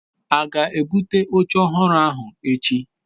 a ga-ebute oche ohuru ahu echi?